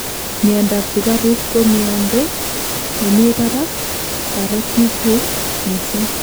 miandap sugaruk ko miando me mi barak karotikguk missing